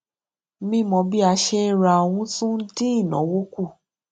mímọ bí a ṣe ń ra ohun tún dín ináwó kù